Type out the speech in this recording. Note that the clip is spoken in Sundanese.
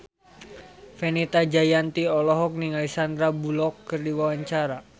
Fenita Jayanti olohok ningali Sandar Bullock keur diwawancara